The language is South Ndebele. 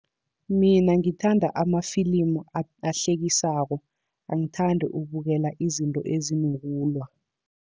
Mina ngithanda amafilimu ahlekisako, angithandi ukubukela izinto ezinokulwa.